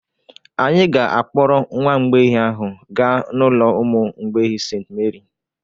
Anyị ga-akpọrọ nwa mgbei ahụ gaa n'ụlọ ụmụ mgbei St. Meri